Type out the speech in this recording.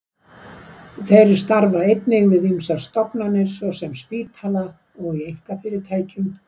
Þeir starfa einnig við ýmsar stofnanir, svo sem spítala, og í einkafyrirtækjum.